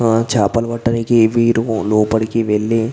ఆ చాపలు పట్టానికి వీరు లోపడికి వెళ్ళి --